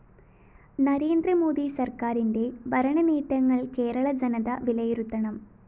നരേന്ദ്രമോദി സര്‍ക്കാരിന്റെ ഭരണനേട്ടങ്ങള്‍ കേരള ജനത വിലയിരുത്തണം